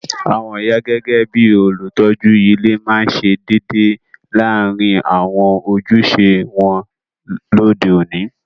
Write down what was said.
Àwon ìyá gẹgẹ bi olùtójú ile ma se dédé láàrin àwon ojúse won lóde oni